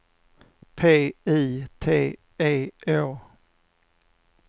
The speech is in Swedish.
P I T E Å